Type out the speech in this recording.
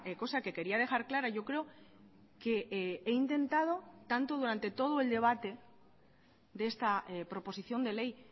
cosa que quería dejar clara yo creo que he intentado tanto durante todo el debate de esta proposición de ley